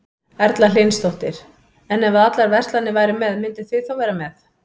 Erla Hlynsdóttir: En ef að allar verslanir væru með, mynduð þið þá vera með?